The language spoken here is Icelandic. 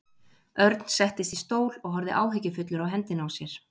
Örn settist í stól og horfði áhyggjufullur á hendina á sér.